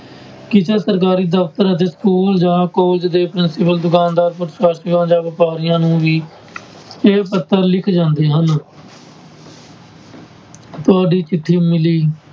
ਕਿਸੇ ਸਰਕਾਰੀ ਦਫ਼ਤਰ ਅਤੇ school ਜਾਂ college ਦੇ principal ਦੁਕਾਨਦਾਰ ਜਾਂ ਵਾਪਾਰੀਆਂ ਨੂੰ ਵੀ ਇਹ ਪੱਤਰ ਲਿਖੇ ਜਾਂਦੇ ਹਨ ਤੁਹਾਡੀ ਚਿੱਠੀ ਮਿਲੀ